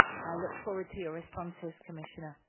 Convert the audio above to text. I look forward to your responses, Commissioner.